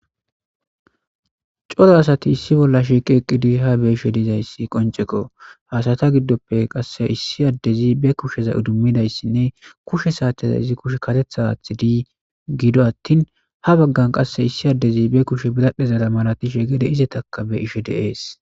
Coora asati issi bolla shiqidi eta gidope kusheza idimidayisnee kushe sateza karetha athidayisi ha bagan qasi issi adezi bekusheza idimidayisnee biradhera malatishe gede izetaka be'ashe de'es